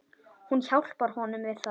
Hún hjálpar honum við það.